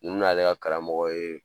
Minnu n'ale ka karamɔgɔ ye